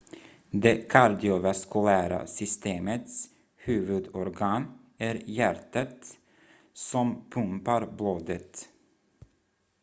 det kardiovaskulära systemets huvudorgan är hjärtat som pumpar blodet